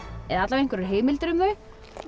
eða einhverjar heimildir um þau